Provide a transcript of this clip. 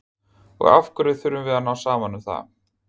Og af hverju þurfum við að ná saman um það?